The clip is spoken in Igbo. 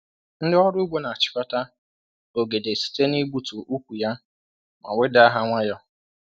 Ndị ọrụ ugbo n'achịkọta ogede site n'igbutu ukwu ya ma wedaa ha nwayọọ.